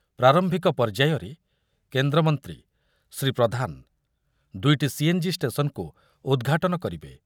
ପ୍ରାରମ୍ଭିକ ପର୍ଯ୍ୟାୟରେ କେନ୍ଦ୍ରମନ୍ତ୍ରୀ ଶ୍ରୀ ପ୍ରଧାନ ଦୁଇଟି ସିଏନ୍‌ଜି ଷ୍ଟେସନ୍‌କୁ ଉଦ୍‌ଘାଟନ କରିବେ।